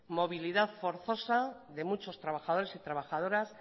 movilidad forzosa de muchos trabajadores y trabajadoras